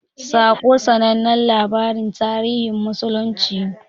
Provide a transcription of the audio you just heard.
"Saƙo" sanannen labarin tarihin musulunci ne.